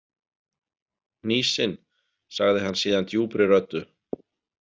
Hnýsin, sagði hann síðan djúpri röddu.